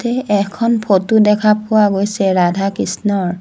এ এখন ফটো দেখা পোৱা গৈছে ৰাধা-কৃষ্ণৰ।